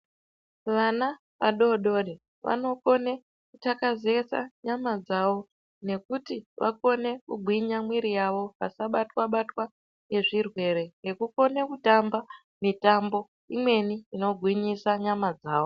Vana vadodori vanokone kuthakazeka nyama dzavo nekuti vakone kugwinya mwiri yavo vasabatwa-batwa ngezvirwere, nekukone kutamba mitambo imweni inogwinyisa nyama dzavo.